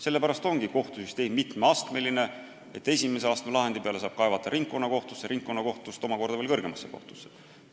Sellepärast ongi kohtusüsteem mitmeastmeline: esimese astme lahendi peale saab kaevata ringkonnakohtusse, ringkonnakohtust omakorda veel kõrgemasse kohtusse.